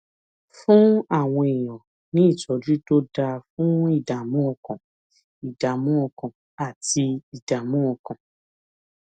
fún àwọn èèyàn ní ìtójú tó dáa fún ìdààmú ọkàn ìdààmú ọkàn àti ìdààmú ọkàn